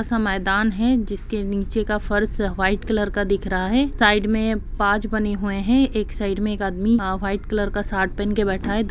ऐसा मैदान है जिसके नीचे का फर्श व्हाइट कलर का दिख रहा है साइड में पाज बने हुए है एक साइड में एक आदमी आ व्हाइट कलर का शार्ट पहन के बैठा है --